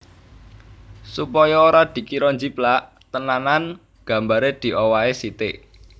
Supaya ora dikira njiplak tenanan gambare diowahi sitik